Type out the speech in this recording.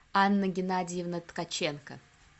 анна геннадьевна ткаченко